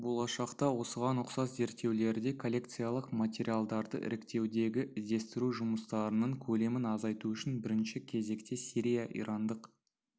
болашақта осыған ұқсас зерттеулерде коллекциялық материалдарды іріктеудегі іздестіру жұмыстарының көлемін азайту үшін бірінші кезекте сирия-ирандық